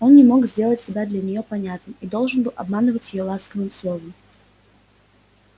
но он не мог сделать себя для нее понятным и должен был обманывать её ласковым словом